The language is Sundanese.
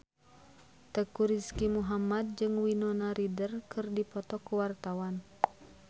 Teuku Rizky Muhammad jeung Winona Ryder keur dipoto ku wartawan